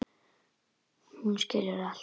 Hún skilur allt.